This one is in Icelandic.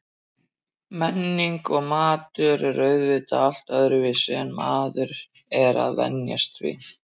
Menningin og maturinn er auðvitað allt öðruvísi en maður er að venjast því.